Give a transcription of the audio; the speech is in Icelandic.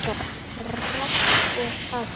Rafn og Katrín.